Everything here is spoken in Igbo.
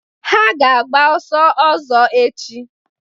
Ha ga-agba ọsọ ọzọ echi.